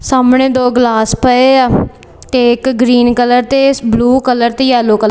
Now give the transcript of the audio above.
ਸਾਹਮਣੇ ਦੋ ਗਲਾਸ ਪਏ ਆ ਤੇ ਇੱਕ ਗਰੀਨ ਕਲਰ ਤੇ ਬਲੂ ਕਲਰ ਤੇ ਯੈਲੋ ਕਲਰ ।